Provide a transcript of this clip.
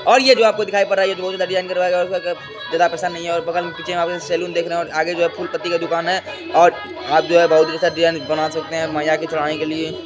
और ये जो आपको दिखाई पड़ रहा है ये सैलून देख रहें हैं और आगे जो है फूल पत्ती का दुकान है और आप जो हैं बहोत अच्छा डिजाइन बना सकते हैं मैया को चढ़ाने के लिए।